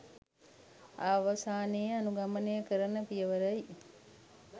අවසානයේ අනුගමනය කරන පියවරයි.